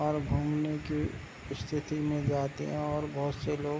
और घूमने के स्थिति में जो आते हैं और बहुत से लोग --